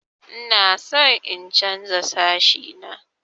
Ina son in chanza sashi na.